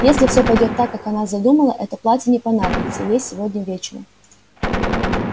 если всё пойдёт так как она задумала это платье не понадобится ей сегодня вечером